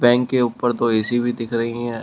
Bank के ऊपर दो ऐसी भी दिख रही है।